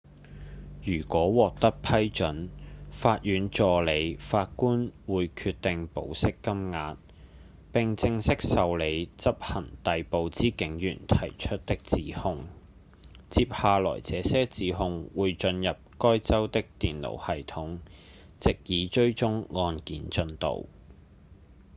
如果獲得批准法院助理法官會決定保釋金額並正式受理執行逮捕之警員提出的指控接下來這些指控會進入該州的電腦系統藉以追蹤案件進度